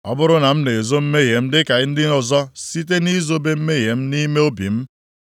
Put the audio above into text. Ọ bụrụ na m na-ezo mmehie m dịka ndị ọzọ, + 31:33 Maọbụ, dịka Adam mere site nʼizobe mmehie m nʼime obi m,